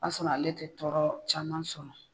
I b'a sɔrɔ ale tɛ tɔɔrɔ caman sɔrɔ.